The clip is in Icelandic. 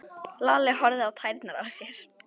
Lalli horfði á tærnar á sér.